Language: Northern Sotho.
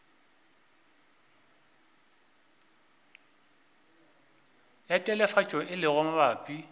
ya telefatšo e lego mabapi